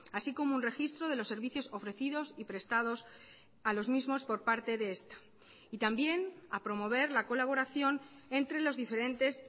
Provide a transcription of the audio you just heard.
así como un registro de los servicios ofrecidos y prestados a los mismos por parte de esta y también a promover la colaboración entre los diferentes